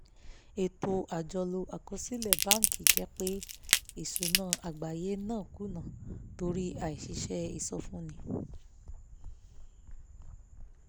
ètò àjọlò àkọsílẹ̀ báńkì jẹ́ pé ìsúná àgbáyé náà kùnà torí àṣìṣe ìsọfúnni